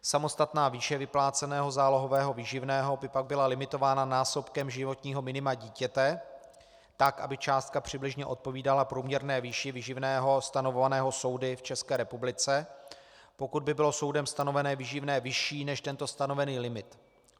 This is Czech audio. Samostatná výše vypláceného zálohového výživného by pak byla limitována násobkem životního minima dítěte tak, aby částka přibližně odpovídala průměrné výši výživného stanovovaného soudy v České republice, pokud by bylo soudem stanovené výživné vyšší než tento stanovený limit.